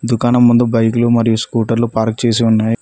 దుకాణం ముందు బైకులు మరియు స్కూటర్లు పార్క్ చేసి ఉన్నాయి.